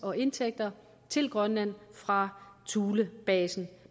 og indtægter til grønland fra thulebasen